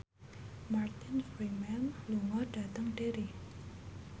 Martin Freeman lunga dhateng Derry